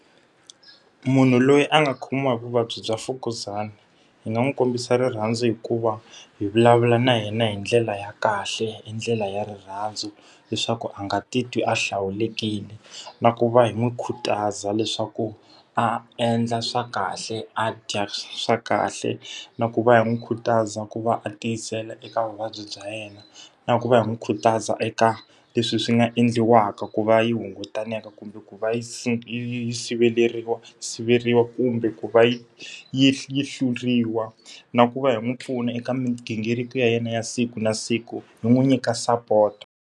Munhu loyi a nga khomiwa hi vuvabyi bya mfukuzana, hi nga n'wi kombisa rirhandzu hi ku va hi vulavula na yena hi ndlela ya kahle, hi ndlela ya rirhandzu leswaku a nga titwi a hlawulekile. Na ku va hi n'wi khutaza leswaku a endla swa kahle, a dya swa kahle, na ku va hi n'wi khutaza ku va a tiyisela eka vuvabyi bya yena. Na ku va hi n'wi khutaza eka leswi swi nga endliwaka ku va yi hunguteka kumbe ku va yi yi yi yi siveriwa kumbe ku va yi yi yi hluriwa, na ku va hi n'wi pfuna eka migingiriko ya yena ya siku na siku, hi n'wi nyika sapoto.